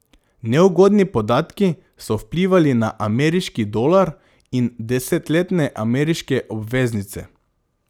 Neugodni podatki so vplivali na ameriški dolar in desetletne ameriške obveznice.